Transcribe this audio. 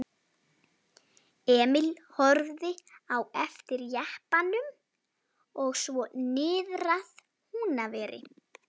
Hann var til dæmis mjög árrisull maður.